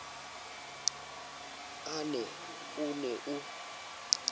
a na o ne o